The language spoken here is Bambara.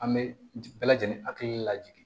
An bɛ bɛɛ lajɛlen hakili lajigi